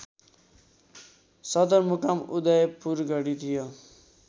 सदरमुकाम उदयपुरगढी थियो